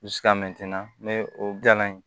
o gala ye